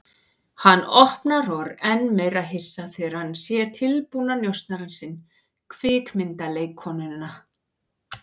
Hann opnar og er enn meira hissa þegar hann sér tilbúna njósnarann sinn, kvikmyndaleikkonuna.